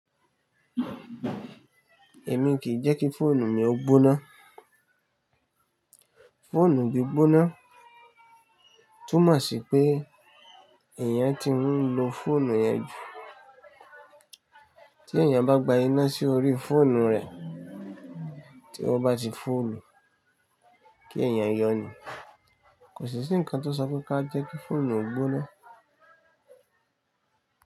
Èmi kìí jẹ́ kí fóònù mi ó gbóná. Fóònù gbí gbóná túmọ̀ sí pé èèyàn tí ń lo fóònù yẹn jù. Tí èèyàn bá gba iná sí orí fóònù rẹ̀ tí ó bá ti full kí èèyàn yọ̀nì. Kò sí sí nǹkan tó ṣọ pe ká jẹ́ kí fóònù gbóná.